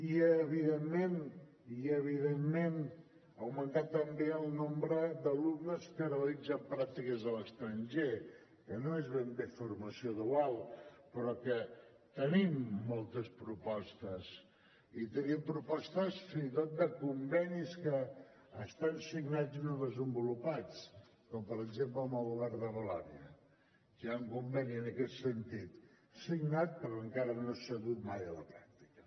i evidentment i evidentment augmentar també el nombre d’alumnes que realitzen pràctiques a l’estranger que no és ben bé formació dual però que hi tenim moltes propostes i tenim propostes fins i tot de convenis que estan signats i no desenvolupats com per exemple amb el govern de valònia que hi ha un conveni en aquest sentit signat però encara no s’ha dut mai a la pràctica